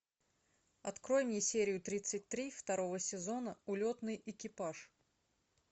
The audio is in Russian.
открой мне серию тридцать три второго сезона улетный экипаж